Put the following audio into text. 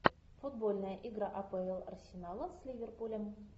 футбольная игра апл арсенала с ливерпулем